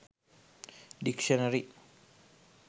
dictionary